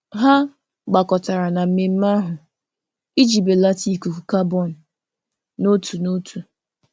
Ha gbakọtara na mmemme ahụ iji belata ikuku kabọn n'otu n'otu.